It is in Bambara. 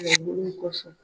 Duuru nin kɔsɔn